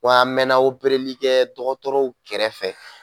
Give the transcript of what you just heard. Wa a mɛɛnna opereli kɛ dɔgɔtɔrɔw kɛrɛfɛ